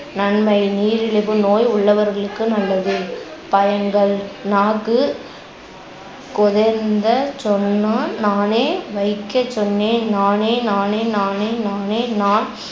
நன்மை நீரிழிவு நோய் உள்ளவர்களுக்கு நல்லது. பயன்கள் நாக்கு சொன்னான் நானே வைக்கச்சொன்னேன் நானே நானே நானே நானே நான்